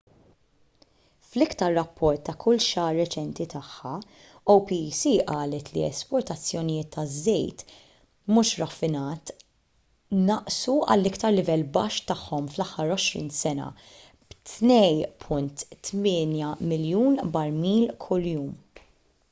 fl-iktar rapport ta’ kull xahar reċenti tagħha opec qalet li l-esportazzjonijiet ta’ żejt mhux raffinat naqsu għall-iktar livell baxx tagħhom fl-aħħar għoxrin sena b’2.8 miljun barmil kuljum